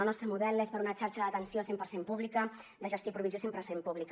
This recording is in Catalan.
el nostre model és per una xarxa d’atenció cent per cent pública de gestió i provisió cent per cent pública